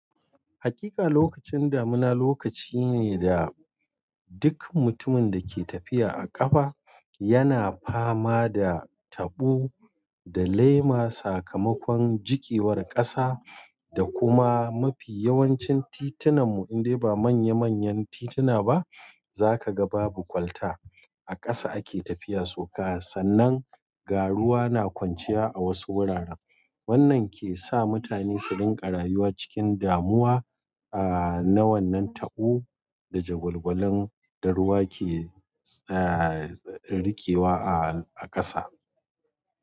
Hakika lokacin damuna lokaci ne da duk mutumin da ke tafiya a ƙafa yana fama da, taɓo, da lema, sakamakon jiƙewar ƙasa, da kuma mafi yawancin titunanmu, indai ba manya manyan tituna ba, za ka ga babu kwalta. A ƙasa ake tafiya soka, sannan ga ruwa na kwanciya a wasu wuraren. Wannan ke sa mutane su rinƙa rayuwa cikin damuwa, a, na wannan taɓo, da jagwalgwalon da ruwa ke, eh, riƙewa a, a ƙasa.